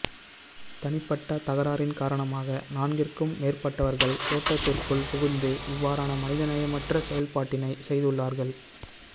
தனிப்பட்ட தகராறின் காரணமாக நான்கிற்கு மேற்பட்டவர்கள் தோட்டத்திற்குள் புகுந்து இவ்வாறான மனிதநேயமற்ற செயற்பாட்டினை செய்துள்ளார்கள்